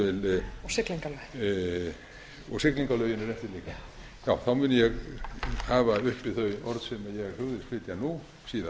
siglingalögin þá mun ég hafa uppi þau orð sem ég hugðist flytja nú síðar